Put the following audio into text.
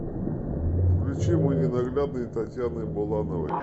включи мой ненаглядный татьяны булановой